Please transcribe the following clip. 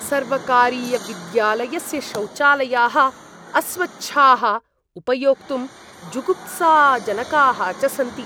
सर्वकारीयविद्यालयस्य शौचालयाः अस्वच्छाः, उपयोक्तुं जुगुप्साजनकाः च सन्ति।